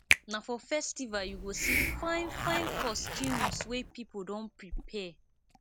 na for festival you go see fine fine costumes wey pipo don prepare